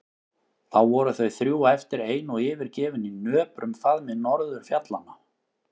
Þá voru þau þrjú eftir ein og yfirgefin í nöprum faðmi norðurfjallanna.